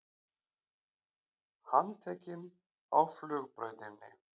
Handtekinn á flugbrautinni